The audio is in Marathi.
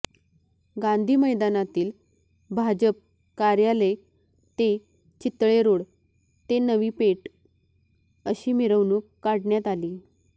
गांधी मैदानातील भाजप कार्यालय ते चितळेरोड ते नवीपेठ अशी मिरवणूकही काढण्यात आली